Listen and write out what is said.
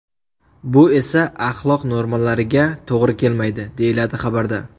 Bu esa axloq normalariga to‘g‘ri kelmaydi, deyiladi xabarda.